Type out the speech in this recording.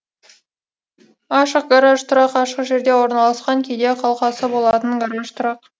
ашық гараж тұрақ ашық жерде орналасқан кейде қалқасы болатын гараж тұрақ